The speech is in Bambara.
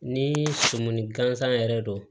Ni suman gansan yɛrɛ don